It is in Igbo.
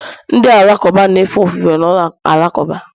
Ndị Alakụba na-efe ofufe na ụlọ alakụba